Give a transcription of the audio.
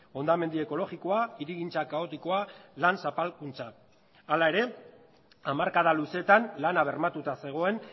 hondamendi ekologikoa hirigintza kaotikoa lan zapalkuntza hala ere hamarkada luzeetan lana bermatuta zegoen